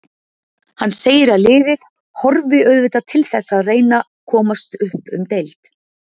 Hann segir að liðið horfi auðvitað til þess að reyna komast upp um deild.